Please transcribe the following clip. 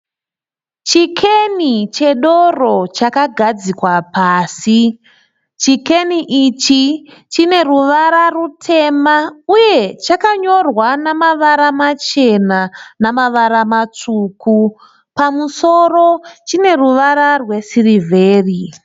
Chikeni chedoro chakagadzikwa pasi. Chikeni ichi chine ruvara rutema uye chakanyorwa namavara machena namavara matsvuku. Pamusoro chine ruvara rwesirivheri.